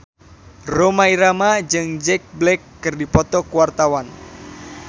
Rhoma Irama jeung Jack Black keur dipoto ku wartawan